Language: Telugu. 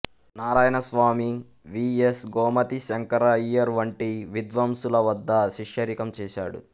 నారాయణస్వామి వి ఎస్ గోమతి శంకర అయ్యర్ వంటి విద్వాంసుల వద్ద శిష్యరికం చేశాడు